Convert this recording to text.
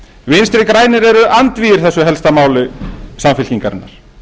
vinstri grænir eru andvígir þessu helsta máli samfylkingarinnar